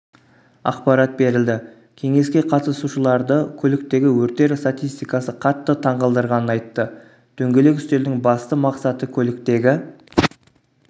ақпарат берілді кеңеске қатысушыларды көліктегі өрттер статистикасы қатты таңғалдырғанын айтты дөңгелек үстелдің басты мақсаты көліктегі